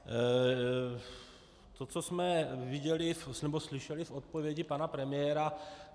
To, co jsme viděli nebo slyšeli v odpovědi pana premiéra.